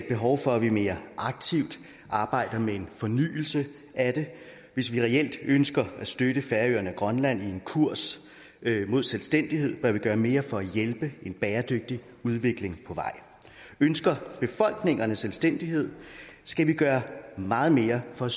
behov for at vi mere aktivt arbejder med en fornyelse af det hvis vi reelt ønsker at støtte færøerne og grønland i en kurs mod selvstændighed bør vi gøre mere for at hjælpe en bæredygtig udvikling på vej ønsker befolkningerne selvstændighed skal vi gøre meget mere for